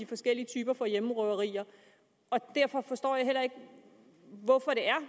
forskellige typer hjemmerøveri derfor forstår jeg heller ikke hvorfor